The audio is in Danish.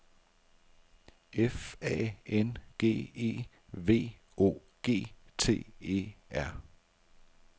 F A N G E V O G T E R